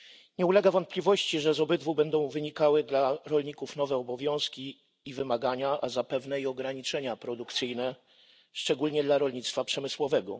Nie ulega wątpliwości, że z obydwu będą wynikały dla rolników nowe obowiązki i wymagania, a zapewne i ograniczenia produkcyjne, szczególnie dla rolnictwa przemysłowego.